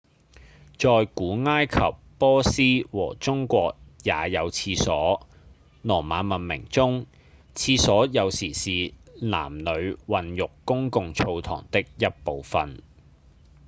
在古埃及、波斯和中國也有廁所羅馬文明中廁所有時是男女混浴公共澡堂的一部份